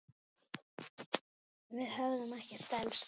Við hefðum ekkert elst.